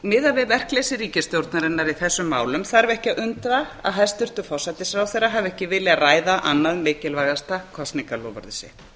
miðað við verkleysi ríkisstjórnarinnar í þessum málum þarf ekki að undra að hæstvirtur forsætisráðherra hafi ekki viljað ræða annað mikilvægasta kosningaloforðið sitt